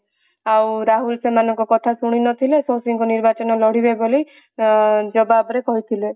ଆଉ ରାହୁଲ ତାଙ୍କ କଥା ଶୁଣି ନଥିଲେ ଶକ୍ତି ଙ୍କୁ ନିର୍ବାଚନ ଲଢିବେ ବୋଲି ଜବାବ ରେ କହିଥିଲେ